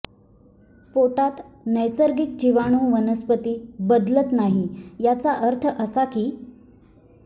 पोटात नैसर्गिक जिवाणू वनस्पती बदलत नाही याचा अर्थ असा की